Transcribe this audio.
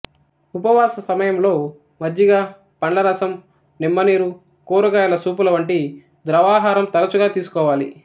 ఉపవాస సమయంలో మజ్జిగ పండ్ల రసం నిమ్మ నీరు కూరగాయ సూపుల వంటి ద్రవాహారం తరచుగా తీసుకోవాలి